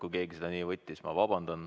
Kui keegi seda nii võttis, siis ma vabandan.